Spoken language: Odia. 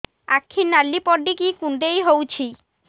ଆଖି ନାଲି ପଡିକି କୁଣ୍ଡେଇ ହଉଛି